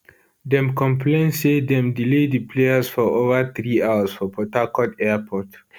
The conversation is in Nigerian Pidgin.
dem complain say dem delay di players for over three hours for port harcourt airport